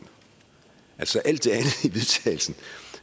altså alt